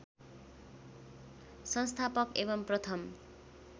संस्थापक एवम् प्रथम